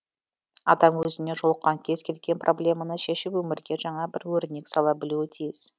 адам өзіне жолыққан кез келген проблеманы шешіп өмірге жаңа бір өрнек сала білуі тиіс